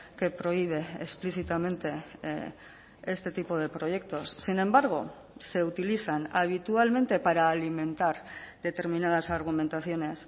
que prohíbe explícitamente este tipo de proyectos sin embargo se utilizan habitualmente para alimentar determinadas argumentaciones